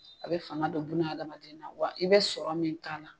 A bɛ fanga don buna adamaden na wa i bɛ sɔrɔ min k'a la